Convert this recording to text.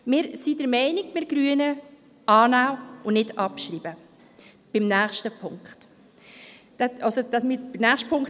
Beim nächsten Punkt sind wir Grüne der Meinung: annehmen und nicht abschreiben.